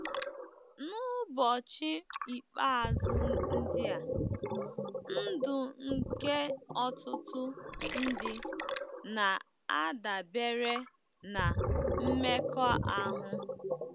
N'ụbọchị ikpeazụ ndị a, ndụ nke ọtụtụ ndị na-adabere na mmekọahụ.